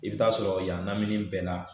I bɛ taa sɔrɔ yanni bɛɛ la